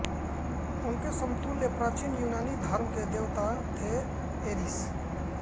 उनके समतुल्य प्राचीन यूनानी धर्म के देवता थे एरीस